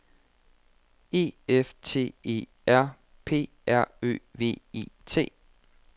E F T E R P R Ø V E T